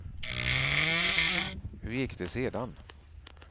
Hur gick det sedan?